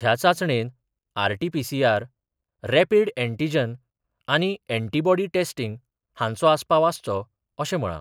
ह्या चाचणेत RTPCR, rapid antigen आनी यॅन्टीबॉडी टेस्टिंग हांचो आस्पाव आसचो अशे म्हळा.